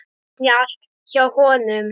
Snjallt hjá honum.